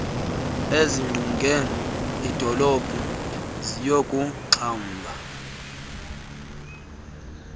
ezingqonge iidolophu ziyakuxhamla